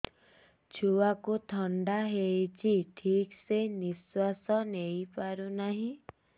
ଛୁଆକୁ ଥଣ୍ଡା ହେଇଛି ଠିକ ସେ ନିଶ୍ୱାସ ନେଇ ପାରୁ ନାହିଁ